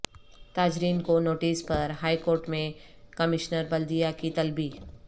تاجرین کو نوٹس پر high court میں کمشنر بلدیہ کی طلبی